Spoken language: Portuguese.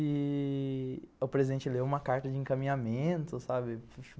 E... o presidente leu uma carta de encaminhamento, sabe?